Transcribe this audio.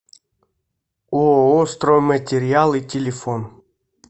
ооо стройматериалы телефон